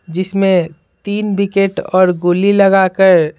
जिसमें तीन विकेट और गोली लगाकर --